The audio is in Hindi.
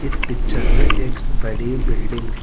इस पिक्चर में एक बड़ी बिल्डिंग है।